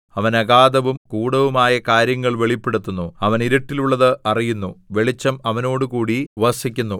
അവൻ അഗാധവും ഗൂഢവും ആയ കാര്യങ്ങൾ വെളിപ്പെടുത്തുന്നു അവൻ ഇരുട്ടിൽ ഉള്ളത് അറിയുന്നു വെളിച്ചം അവനോടുകൂടി വസിക്കുന്നു